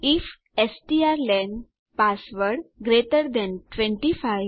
if strlen password greater than 25